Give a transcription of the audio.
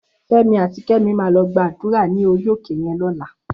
Femi àtí Kemi má lò gbàdúrá ni óri óké yèn lòlá